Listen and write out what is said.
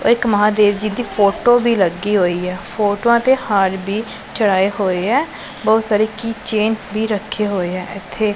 ਔਰ ਇੱਕ ਮਹਾਦੇਵ ਜੀ ਦੀ ਫੋਟੋ ਵੀ ਲੱਗੀ ਹੋਈ ਹੈ ਫ਼ੋਟੋਆਂ ਤੇ ਹਾਰ ਵੀ ਚਢਾਏ ਹੋਏ ਹੈਂ ਬਹੁਤ ਸਾਰੇ ਕੀ ਚੇਂਨ ਵੀ ਰੱਖੇ ਹੋਏ ਹੈਂ ਇੱਥੇ।